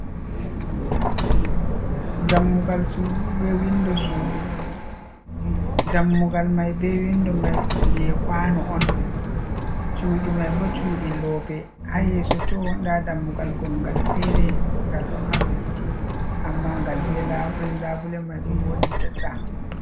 Dammugal sudu be windo sudu. Dammugal mai be windo mai je kwano on, cuɗi mai bo cuɗi loope, haa yeso tow nda dammugal gongal feere ngal ɗo maɓɓiti amma ngal be labule, labule mai ɗo vonƴi seɗɗa.